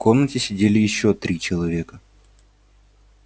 в комнате сидели ещё три человека